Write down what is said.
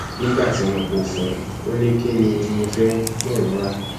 nígbà tí mo kó o fún un ò ní kín ni mo fẹ kí òun rà